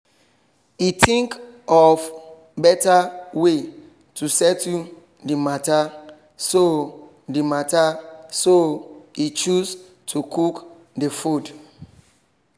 he think of better way to settle the matter so he matter so he choose to cook the food